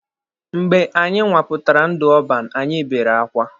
Mgbe anyị nwapụtara ndụ ọban, anyị bere akwa.